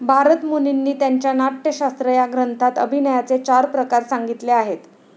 भारतमुनींनी त्यांच्या नाट्यशास्त्र या ग्रंथात अभिनयाचे चार प्रकार संगितले आहेत.